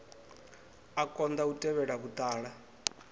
a konḓa u tevhela vhuṱala